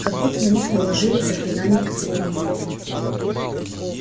как будто на них наложили заклинание оцепенения